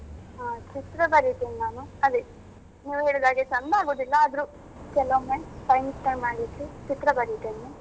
ಚಿತ್ರ ಬರಿತೇನ್ ನಾನು. ಅದೇ ನೀವ್ ಹೇಳಿದಾಗೆ ಚಂದ ಆಗುದಿಲ್ಲ ಆದ್ರೂ ಕೆಲವೊಮ್ಮೆ ಮಾಡ್ಲಿಕ್ಕೆ ಚಿತ್ರ ಬರಿತೇನೆ.